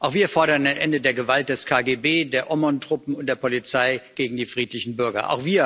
Auch wir fordern ein Ende der Gewalt des KGB, der Omon Truppen und der Polizei gegen die friedlichen Bürger.